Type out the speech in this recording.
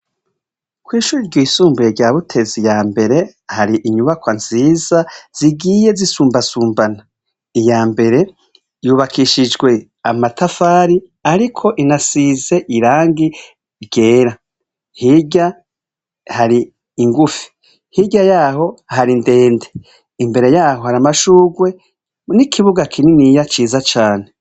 Kw'ishure ryisumbuye rya Butezi yambere hari inyubakwa nziza zigiye zisumbasumbana iyambere yubakishijwe amatafari ariko inasize irangi ryera hirya hari ingufi hirya yaho ndende imbere yaho hari amashugwe n'ikibuga kininiya ciza cane